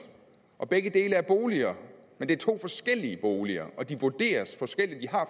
og begge dele er boliger men det er to forskellige boliger og de vurderes forskelligt de